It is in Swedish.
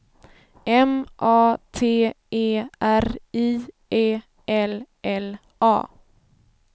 M A T E R I E L L A